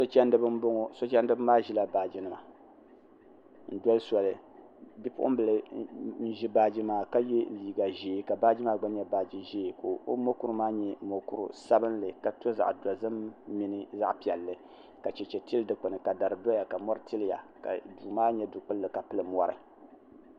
so chɛndiba n bɔŋɔ so chɛndiba maa ʒila baaji nima n doli soli bipuɣunbili n ʒi baaji maa ka yɛ liiga ʒiɛ ka baaji maa gba nyɛ baaji ʒiɛ ka o mokuru maa nyɛ mokuru sabinli ka to zaɣ dozim mini zaɣ piɛlli ka chɛchɛ tili dikpuni ka dari doya ka mori tiliya ka duu maa nyɛ du kpulli ka pili mori